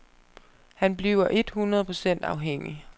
Han bliver et hundrede procent afhængig.